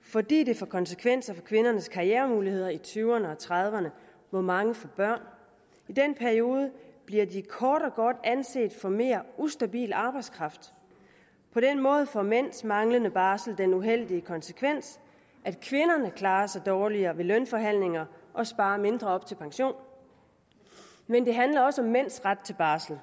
fordi det får konsekvenser for kvindernes karrieremuligheder i tyverne og trediverne hvor mange får børn i den periode bliver de kort og godt anset for mere ustabil arbejdskraft på den måde får mænds manglende barsel den uheldige konsekvens at kvinderne klarer sig dårligere ved lønforhandlinger og sparer mindre op til pension men det handler også om mænds ret til barsel